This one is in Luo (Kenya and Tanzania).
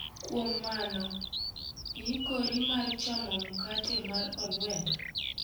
Kuom mano, iyikori mar chamo mkate mar oluenda?